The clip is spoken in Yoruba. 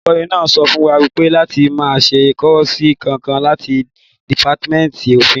Olùkọ́ náà sọ fún wa láti máa ṣe kọ́ọ̀sì kankan láti dìpátímẹ́ǹtì òfin